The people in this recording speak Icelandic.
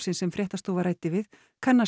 sem fréttastofa ræddi við kannast